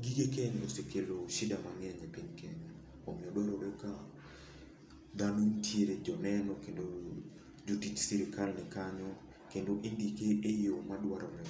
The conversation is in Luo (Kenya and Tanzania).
gige keny osekelo shida mang'eny e piny Kenya. Omiyo dwarore ka dhano nitiere, joneno, kendo jotich sirkal ni kanyo, kendo indike e yo ma dwarore.